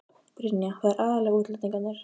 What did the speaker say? Brynja: Það eru aðallega útlendingarnir?